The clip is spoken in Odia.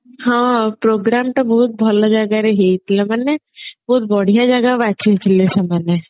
ହଁ program ଟା ବହୁତ ଭଲ ଜାଗାରେ ହେଇଥିଲା ମାନେ ବହୁତ ବଢିଆ ଜାଗା ବାଛି ଥିଲେ ସେମାନେ